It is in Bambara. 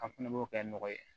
An fɛnɛ b'o kɛ nɔgɔ ye